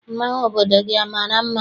Mmanwụ obodo gị amara mma?